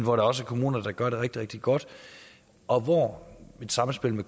også kommuner der gør det rigtig rigtig godt og hvor et samspil